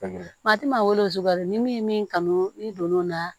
Maa ti maa wele suguya rɔ ni min ye min kanu n'i donn'o la